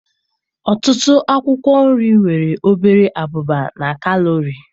Ọtụtụ akwụkwọ nri nwere obere abụba na kalori.